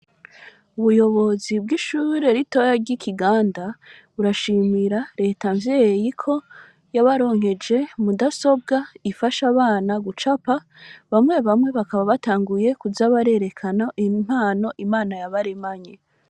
Ubuyobozi bw'ishuri ritoya ry'ikiganda, burashimira reta mvyeyi ko yabaronkeje mudasobwa ifasha abana gucapa, bamwe bamwe bakaba batanguye kuza barerekana impano Imana yabaremanye.